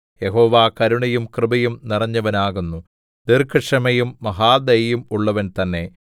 യഹോവ കരുണയും കൃപയും നിറഞ്ഞവൻ ആകുന്നു ദീർഘക്ഷമയും മഹാദയയും ഉള്ളവൻ തന്നെ